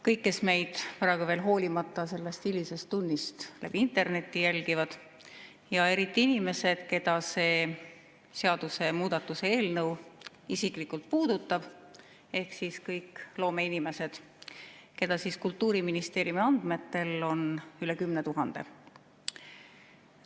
Kõik, kes meid praegu veel sellest hilisest tunnist hoolimata internetis jälgivad, ja eriti inimesed, keda see seadusemuudatuse eelnõu isiklikult puudutab, ehk kõik loomeinimesed, keda Kultuuriministeeriumi andmetel on üle 10 000!